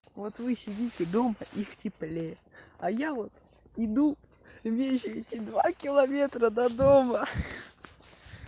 вот вы сидите дома и в теплее а я вот иду и мне ещё идти два километра до дома